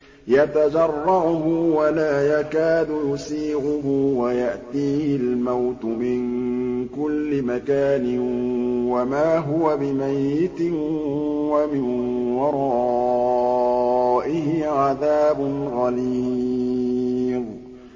يَتَجَرَّعُهُ وَلَا يَكَادُ يُسِيغُهُ وَيَأْتِيهِ الْمَوْتُ مِن كُلِّ مَكَانٍ وَمَا هُوَ بِمَيِّتٍ ۖ وَمِن وَرَائِهِ عَذَابٌ غَلِيظٌ